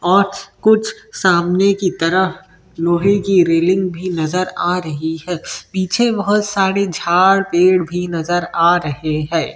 और कुछ सामने की तरफ लोहे की रेलिंग भी नज़र आ रही हैं पीछे बहुत सारे झाड़-पेड़ भी नज़र आ रहॆ हैं।